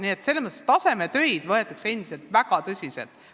Nii et selles mõttes võetakse tasemetöid endiselt väga tõsiselt.